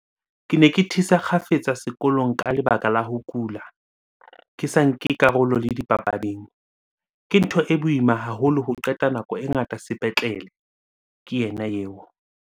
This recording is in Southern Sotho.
"Ke ne ke thisa kgafetsa sekolong ka lebaka la ho kula, ke sa nke karolo le dipapading. Ke ntho e boima haholo ho qeta nako e ngata sepetlele," ke yena eo.